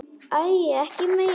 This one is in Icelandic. Æi, ekki meira!